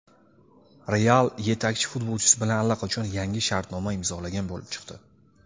"Real" yetakchi futbolchisi bilan allaqachon yangi shartnoma imzolagan bo‘lib chiqdi.